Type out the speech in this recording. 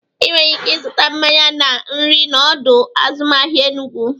Inwere ike ịzụta mmanya na nri na ọdọ azụmahịa Enugwu.